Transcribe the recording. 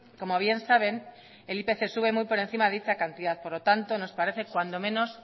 como bien saben el ipc sube muy por encima de dicha cantidad por lo tanto nos parece cuando menos